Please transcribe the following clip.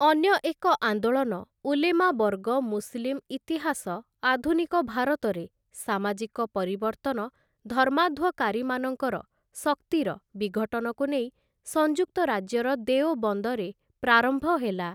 ଅନ୍ୟ ଏକ ଆନ୍ଦୋଳନ ଉଲେମା ବର୍ଗ ମୁସଲିମ୍‌ ଇତିହାସ ଆଧୁନିକ ଭାରତରେ ସାମାଜିକ ପରିବର୍ତ୍ତନ ଧର୍ମାଧ୍ୱକାରୀମାନଙ୍କର ଶକ୍ତିର ବିଘଟନକୁ ନେଇ ସଂଯୁକ୍ତ ରାଜ୍ୟର ଦେଓବନ୍ଦରେ ପ୍ରାରମ୍ଭ ହେଲା ।